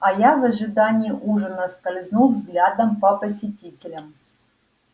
а я в ожидании ужина скользнул взглядом по посетителям